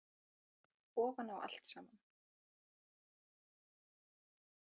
Ofan á allt saman.